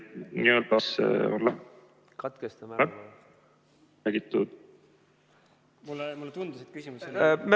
Kas katkestame ära?